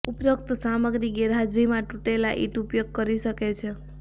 ઉપરોક્ત સામગ્રી ગેરહાજરીમાં તૂટેલા ઈંટ ઉપયોગ કરી શકે છે